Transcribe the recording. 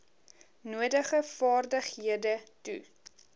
nodige vaardighede toe